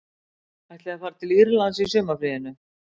Ætlið þið þá að fara til Írlands í sumarfríinu